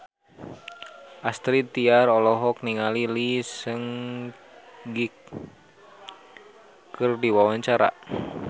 Astrid Tiar olohok ningali Lee Seung Gi keur diwawancara